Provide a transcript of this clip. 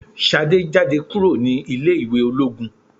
Ṣadé jáde kúrò ní ilé ìwé ológun.